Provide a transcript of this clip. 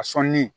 A sɔnni